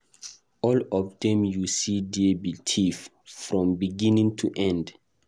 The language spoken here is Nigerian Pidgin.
All of dem you see there be thief, from beginning to end.